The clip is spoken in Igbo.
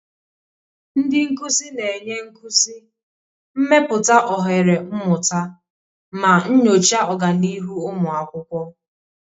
Ndị nkuzi na-enye nkuzi, mepụta ohere mmụta, ma nyochaa ọganihu ụmụ akwụkwọ.